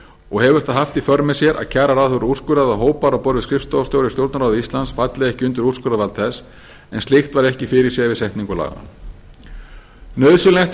og hefur það haft í för með sér að kjararáð hefur úrskurðað að hópar á borð við skrifstofustjóra í stjórnarráði íslands falli ekki undir úrskurðarvald þess en slíkt var ekki fyrirséð við setningu laganna nauðsynlegt er